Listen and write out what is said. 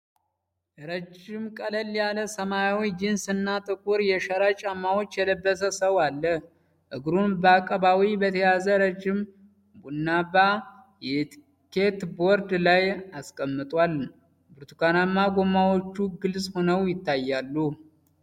ረጅም ቀለል ያለ ሰማያዊ ጂንስ እና ጥቁር የሸራ ጫማዎች የለበሰ ሰው አለ። እግሩን በአቀባዊ በተያዘ ረጅም ቡናማ የስኬትቦርድ ላይ አስቀምጧል፣ ብርቱካናማ ጎማዎቹ ግልጽ ሆነው ይታያሉ።